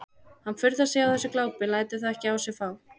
Hann furðar sig á þessu glápi en lætur það ekki á sig fá.